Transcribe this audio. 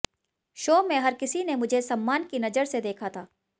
show में हर किसी ने मुझे सम्मान की नजर से देखा था